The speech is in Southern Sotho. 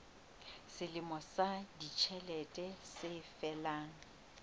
selemo sa ditjhelete se felang